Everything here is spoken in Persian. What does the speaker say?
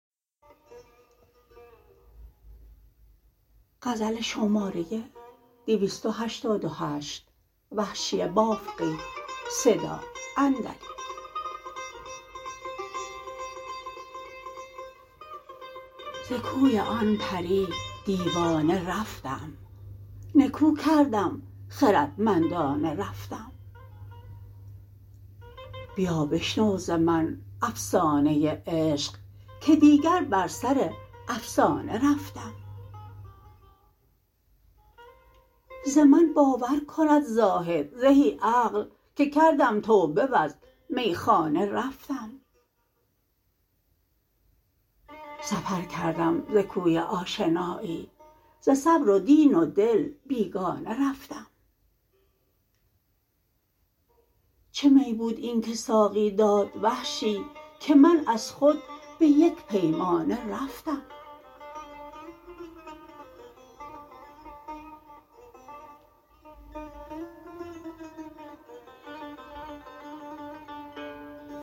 ز کوی آن پری دیوانه رفتم نکو کردم خردمندانه رفتم بیا بشنو ز من افسانه عشق که دیگر بر سر افسانه رفتم ز من باور کند زاهد زهی عقل که کردم توبه وز میخانه رفتم سفر کردم ز کوی آشنایی ز صبر و دین و دل بیگانه رفتم چه می بود اینکه ساقی داد وحشی که من از خود به یک پیمانه رفتم